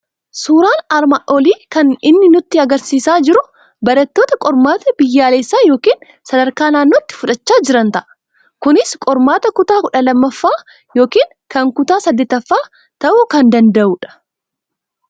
Suuraan armaan olii kan inni nutti argisiisaa jiru barattoota qormaata biyyaalessaa yookiin sadarkaa naannootti fudhachaa jiran ta'a. Kunis qormaata kutaa kudha lammaffaa yookiin kan kutaa saddettaffaa ta'uu kan danda'u dha.